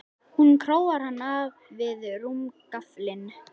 Hún króar hann af við rúmgaflinn.